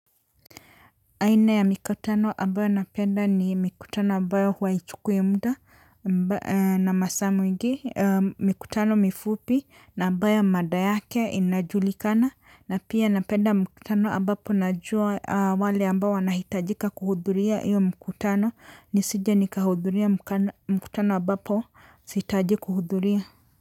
Aina ya mikutano ambayo napenda ni mikutano ambayo huwa haichukui muda na masaa mengi mikutano mifupi na ambayo mada yake inajulikana na pia napenda mkutano ambapo najua wale ambao wanahitajika kuhudhuria hiyo mkutano nisije nikahudhuria mkutano ambapo sihitaji kuhudhuria.